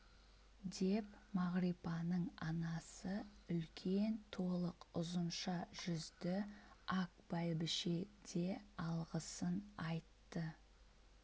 деп мағрипаның анасы үлкен толық ұзынша жүзді ак бәйбіше де алғысын айтты